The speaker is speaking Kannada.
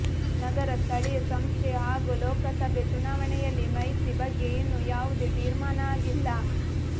ನಗರ ಸ್ಥಳೀಯ ಸಂಸ್ಥೆ ಹಾಗೂ ಲೋಕಸಭೆ ಚುನಾವಣೆಯಲ್ಲಿ ಮೈತ್ರಿ ಬಗ್ಗೆ ಇನ್ನೂ ಯಾವುದೇ ತೀರ್ಮಾನ ಆಗಿಲ್ಲ